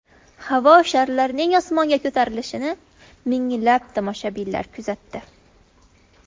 Havo sharlarining osmonga ko‘tarilishini minglab tomoshabinlar kuzatdi.